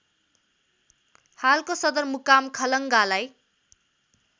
हालको सदरमुकाम खलङ्गालाई